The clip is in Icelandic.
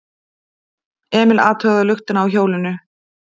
Emil athugaði luktina á hjólinu.